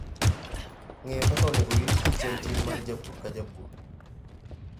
Ng'eyo kaka onego orit kich en ting' mar japur ka japur.